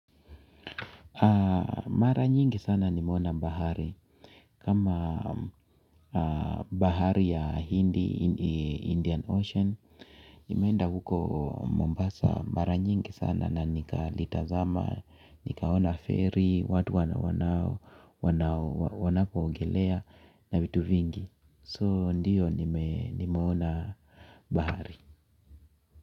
Mara nyingi sana nimeona bahari kama bahari ya Hindi Indian Ocean. Nimeenda huko Mombasa mara nyingi sana na nikalitazama. Nikaona feri, watu wanapoogelea na vitu vingi so ndiyo nimeona bahari.